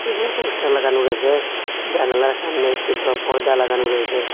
উপরে পোস্টার লাগানো রয়েছে জানালার সামনে একটি বড়ো পর্দা লাগানো রয়েছে।